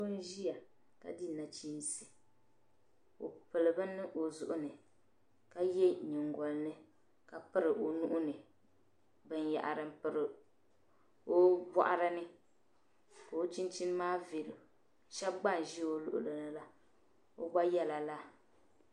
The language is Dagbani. Bii nziya ka di nachiinsi o pili bini ɔzuɣu ni ka ye nyingolini. ka piri onuhini binyahiri n piri obɔɣirini. ka o chinchini maa veenɔ shab gba nzi ɔluɣilnila. bi gba yela lala.